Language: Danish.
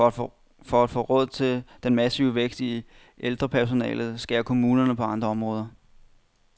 For at få råd til den massive vækst i ældrepersonalet, skærer kommunerne på andre områder.